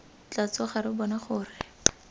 tla tsoga re bona gore